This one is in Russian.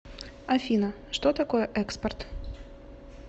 афина что такое экспорт